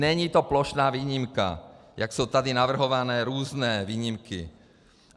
Není to plošná výjimka, jak jsou tady navrhovány různé výjimky.